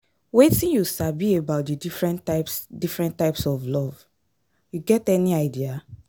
Wetin you sabi about di different types different types of love, you get any idea?